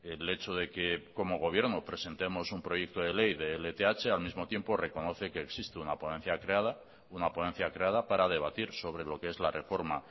el hecho de que como gobierno presentemos un proyecto de ley de lth al mismo tiempo reconoce que existe una ponencia creada una ponencia creada para debatir sobre lo que es la reforma